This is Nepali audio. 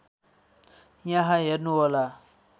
यहाँ हेर्नुहोला